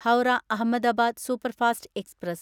Howrah Ahmedabad superfast express